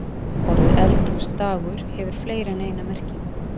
Orðið eldhúsdagur hefur fleiri en eina merkingu.